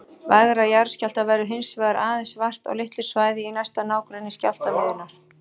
Vægra jarðskjálfta verður hins vegar aðeins vart á litlu svæði í næsta nágrenni skjálftamiðjunnar.